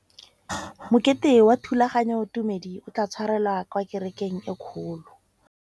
Mokete wa thulaganyôtumêdi o tla tshwarelwa kwa kerekeng e kgolo.